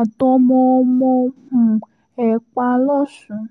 àtọmọ-ọmọ um ẹ̀ pa lọ́sùn